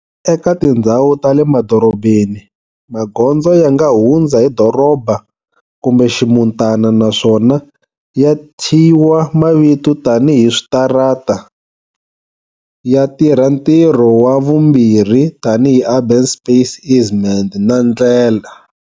Eka tindzhawu ta le madorobeni, magondzo yanga hundza hi doroba kumbe ximutana naswona ya thyiwa mavito tani hi switarata, ya tirha ntirho wa vumbirhi tani hi urban space easement na ndlela.